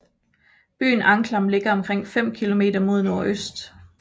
Byen Anklam ligger omkring fem kilometer mod nordøst